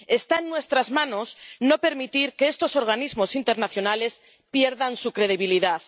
Está en nuestras manos no permitir que estos organismos internacionales pierdan su credibilidad.